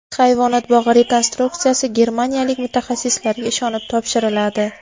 Hayvonot bog‘i rekonstruksiyasi germaniyalik mutaxassislarga ishonib topshiriladi.